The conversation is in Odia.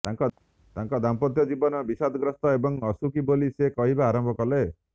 ତାଙ୍କ ଦାମ୍ପତ୍ୟ ଜୀବନ ବିଷାଦଗ୍ରସ୍ତ ଏବଂ ଅସୁଖୀ ବୋଲି ସେ କହିବା ଆରମ୍ଭ କଲେ